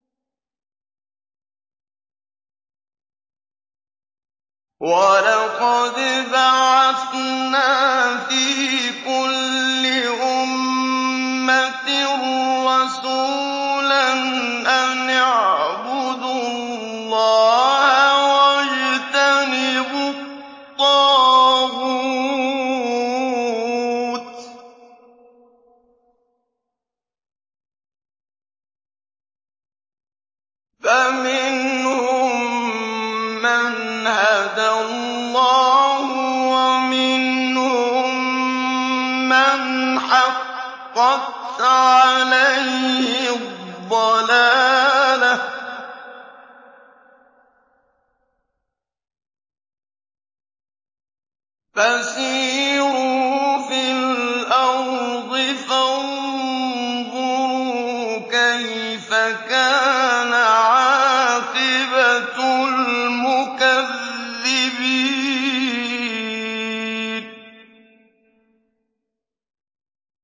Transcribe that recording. وَلَقَدْ بَعَثْنَا فِي كُلِّ أُمَّةٍ رَّسُولًا أَنِ اعْبُدُوا اللَّهَ وَاجْتَنِبُوا الطَّاغُوتَ ۖ فَمِنْهُم مَّنْ هَدَى اللَّهُ وَمِنْهُم مَّنْ حَقَّتْ عَلَيْهِ الضَّلَالَةُ ۚ فَسِيرُوا فِي الْأَرْضِ فَانظُرُوا كَيْفَ كَانَ عَاقِبَةُ الْمُكَذِّبِينَ